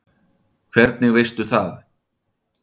Hvernig veistu það?